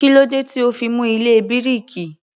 Kílódé tí ò ó fi mú ilé bíríkì?